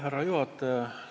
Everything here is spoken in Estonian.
Härra juhataja!